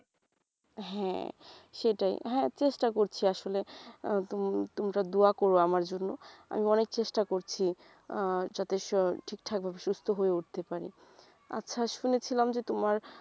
হ্যাঁ সেটাই হ্যাঁ চেষ্টা করছি আসলে আহ তোম ~তোমরা দুয়া কোরো আমার জন্য আমি অনেক চেষ্টা করছি আহ যাতে ঠিক ঠাক ভাবে সুস্থ হয়ে উঠতে পারি আচ্ছা শুনেছিলাম যে তোমার